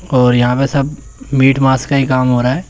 और यहां पे सब मीट मांस का ही काम हो रहा है।